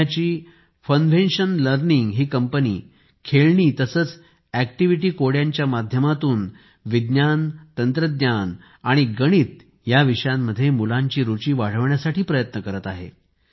पुण्याची Funvention learning ही कंपनी खेळणी तसेच अॅक्टिव्हीटी कोड्यांच्या माध्यमातून विज्ञान तंत्रज्ञान आणि गणित या विषयांमध्ये मुलांची रुची वाढविण्यासाठी प्रयत्न करत आहे